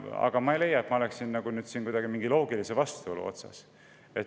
Aga ma ei leia, et ma oleksin siin kuidagi mingi loogilise vastuolu otsas.